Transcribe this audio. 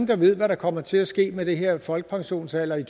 der ved hvad der kommer til at ske med den her folkepensionsalder i